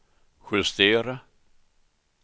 justera